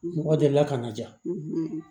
Mɔgɔ delila ka na jaa